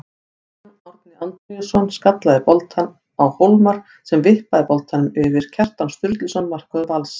Guðjón Árni Antoníusson skallaði boltann á Hólmar sem vippaði boltanum yfir Kjartan Sturluson markvörð Vals.